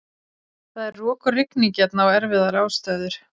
Það er rok og rigning hérna og erfiðar aðstæður.